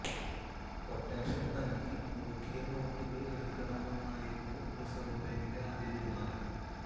quotation നൽകി നുറുക്കിയ നോട്ടുകൾ എടുക്കണമെന്നായിരുന്നു റിസർവ്വ് ബാങ്കിന്റെ ആദ്യ തീരുമാനം